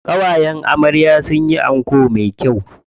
Ƙawayen amarya sun yi anko me kyau.